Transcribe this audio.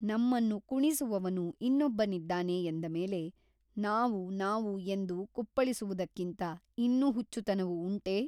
ನಮ್ಮನ್ನು ಕುಣಿಸುವವನು ಇನ್ನೊಬ್ಬನಿದ್ದಾನೆ ಎಂದ ಮೇಲೆ ನಾವು ನಾವು ಎಂದು ಕುಪ್ಪಳಿಸುವುದಕ್ಕಿಂತ ಇನ್ನೂ ಹುಚ್ಚುತನವು ಉಂಟೆ?